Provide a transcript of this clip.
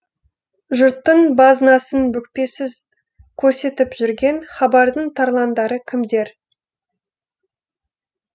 жұрттың базынасын бүкпесіз көрсетіп жүрген хабардың тарландары кімдер